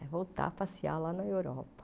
É voltar a passear lá na Europa.